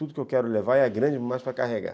Tudo que eu quero levar é grande demais para carregar.